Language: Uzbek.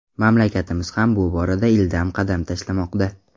Mamlakatimiz ham bu borada ildam qadam tashlamoqda.